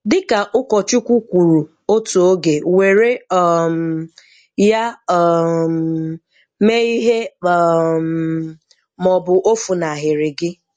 Dị́kà Ụ́kọ̀chúkwú kwúrú ótù ógè, wèré um ya um mèe ìhè um màọ̀bụ̀ ò fùnáhírí gị